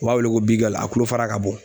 U b'a wele ko bigali a tulofara ka bon